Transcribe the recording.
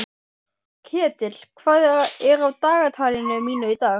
Ketill, hvað er á dagatalinu mínu í dag?